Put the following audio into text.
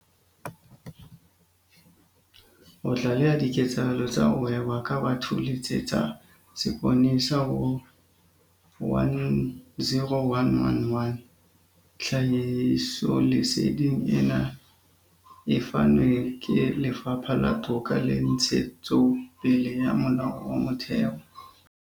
Ho tlaleha diketsahalo tsa ho hweba ka batho letsetsa seponesa ho- 10111. Tlhahisoleseding ena e fanwe ke Lefapha la Toka le Ntshetsopele ya Molao wa Motheo.